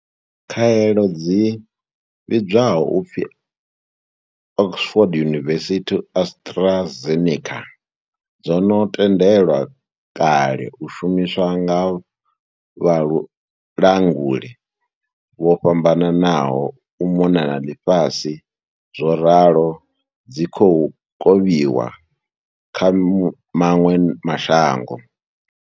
Khaelo dzi vhidzwaho u pfi Oxford University-AstraZeneca dzo no tendelwa kale u shumiswa nga vhalanguli vho fhambananaho u mona na ḽifhasi zworalo dzi khou kovhiwa kha maṅwe ma shango.